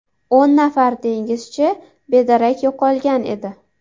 O‘n nafar dengizchi bedarak yo‘qolgan edi.